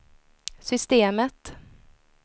systemet